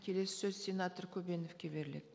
келесі сөз сенатор көбеновке беріледі